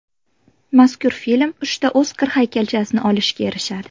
Mazkur film uchta Oskar haykalchasini olishga erishadi.